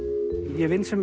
ég vinn sem